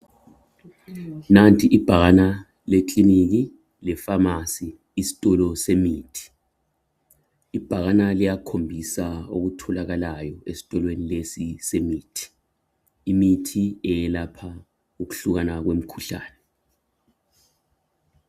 nanti ibhakana lekiliniki le phamarcy isitolo semithi ibhakana liyakhombiusa okutholakayo esitolweni lesi semithi imithi eyelapha ukuhlukana kwemikhuhlane